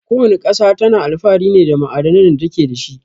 Ko wana ƙasa tana alfahari ne da ma'adanan da take dashi.